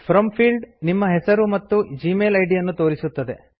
from field ನಿಮ್ಮ ಹೆಸರು ಮತ್ತು ಜಿಮೇಲ್ ಇದ್ ಅನ್ನು ತೋರಿಸುತ್ತದೆ